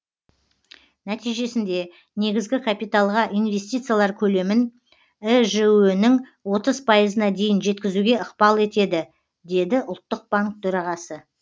нәтижесінде негізгі капиталға инвестициялар көлемін іжө нің отыз пайызына дейін жеткізуге ықпал етеді деді ұлттық банк төрағасы